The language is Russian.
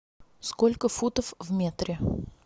сколько футов в метре